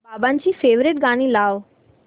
बाबांची फेवरिट गाणी लाव